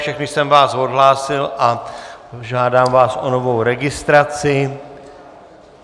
Všechny jsem vás odhlásil a žádám vás o novou registraci.